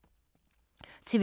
TV 2